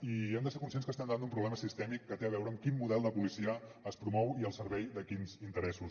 i hem de ser conscients que estem davant d’un problema sistèmic que té a veure amb quin model de policia es promou i al servei de quins interessos